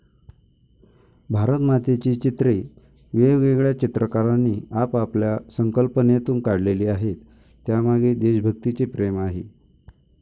भारतमातेची चित्रे वेगवेगळ्या चित्रकारांनी आपापल्या संकल्पनेतून काढलेली आहेत, त्यामागे देशभक्तीचे प्रेम आहे.